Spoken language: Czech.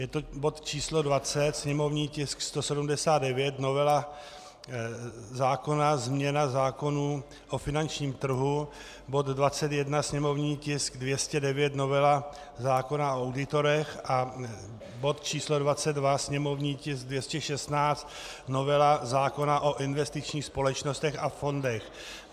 Je to bod číslo 20, sněmovní tisk 179, novela zákona - změna zákonů o finančním trhu, bod 21, sněmovní tisk 209, novela zákona o auditorech, a bod číslo 22, sněmovní tisk 216, novela zákona o investičních společnostech a fondech.